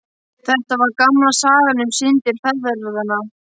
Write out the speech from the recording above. Þetta var gamla sagan um syndir feðranna.